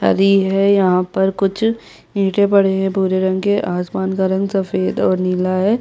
भरी है यहाँ पर कुछ ईटे पड़े है भूरे रंग के आसमान का रंग सफ़ेद और नीला है।